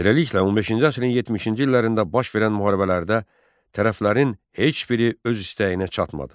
Beləliklə, 15-ci əsrin 70-ci illərində baş verən müharibələrdə tərəflərin heç biri öz istəyinə çatmadı.